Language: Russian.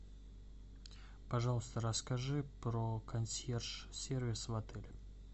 пожалуйста расскажи про консьерж сервис в отеле